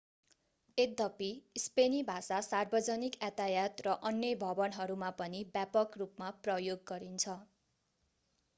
यद्यपि स्पेनी भाषा सार्वजनिक यातायात र अन्य भवनहरूमा पनि व्यापक रूपमा प्रयोग गरिन्छ